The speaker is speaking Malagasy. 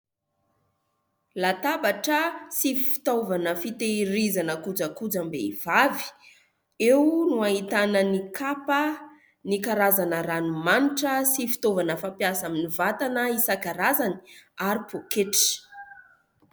Latabatra sy fitaovana fitehirizana kojakojam-behivavy eo no ahitana ny kapa, ny karazana ranomanitra sy fitaovana fampiasa amin'ny vatana isankarazany ary poketra